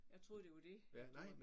Jeg troede det var det at du